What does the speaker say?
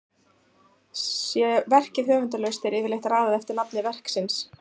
Sé verkið höfundarlaust er yfirleitt raðað eftir nafni verksins.